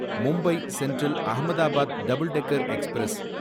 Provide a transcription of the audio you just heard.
Mumbai central Ahmedabad double decker express